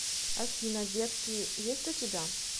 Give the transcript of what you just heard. афина детки есть у тебя